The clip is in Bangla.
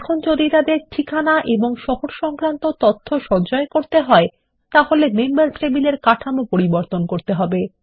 এখন যদি তাদের ঠিকানা এবং শহর সংক্রান্ত তথ্য সঞ্চয় করতে হয় তাহলে মেম্বার্স টেবিল কাঠামো পরিবর্তন করতে হবে